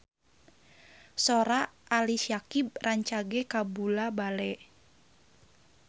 Sora Ali Syakieb rancage kabula-bale